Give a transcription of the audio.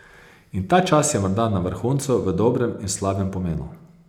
In ta čas je morda na vrhuncu v dobrem in slabem pomenu.